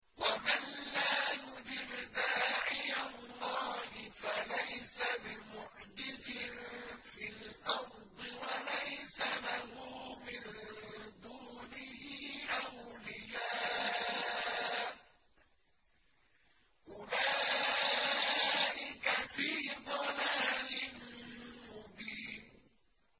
وَمَن لَّا يُجِبْ دَاعِيَ اللَّهِ فَلَيْسَ بِمُعْجِزٍ فِي الْأَرْضِ وَلَيْسَ لَهُ مِن دُونِهِ أَوْلِيَاءُ ۚ أُولَٰئِكَ فِي ضَلَالٍ مُّبِينٍ